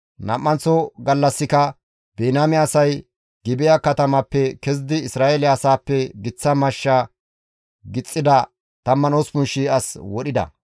Nam7anththo gallassika Biniyaame asay Gibi7a katamappe kezidi Isra7eele asaappe giththa mashsha gixxida 18,000 as wodhida;